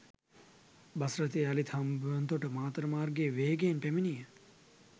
bus රථය යළිත් හම්බන්තොට මාතර මාර්ගයේ වේගයෙන් පැමිණිය